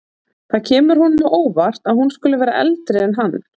Það kemur honum á óvart að hún skuli vera eldri en hann.